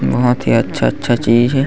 बहोत ही अच्छा-अच्छा चीज हे।